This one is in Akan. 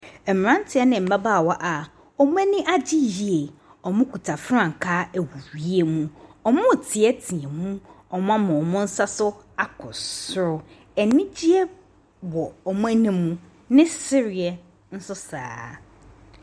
Mmeranteɛ ne mmabaawa a wɔn ani agye yie, wɔkita frankaa wɔ siem. Wɔreteatea mu. Wɔama wɔn nsa so akɔ soro. Anigyeɛ wɔ wɔn anim. Ne sereɛ nso so saa ara.